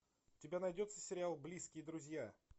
у тебя найдется сериал близкие друзья